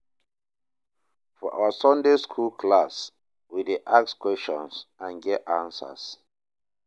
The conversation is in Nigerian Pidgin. For our Sunday skool class, we dey ask questions and get answers